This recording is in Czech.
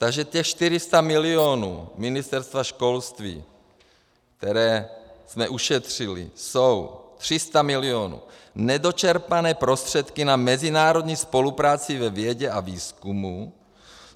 Takže těch 400 milionů Ministerstva školství, které jsme ušetřili, jsou 300 milionů nedočerpané prostředky na mezinárodní spolupráci ve vědě a výzkumu.